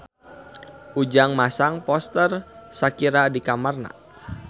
Ujang masang poster Shakira di kamarna